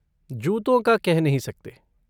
जूतों का कह नहीं सकते।